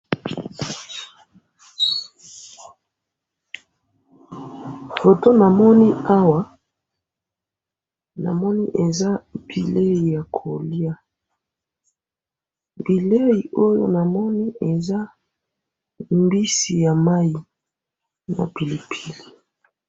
moto namoni awa , namoni eza bilei yako lya , bilei oyo na moni eza mbisi ya mayi na pilipili